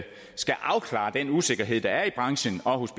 afklare den usikkerhed der er i branchen og hos